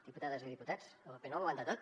diputades i diputats el paper no ho aguanta tot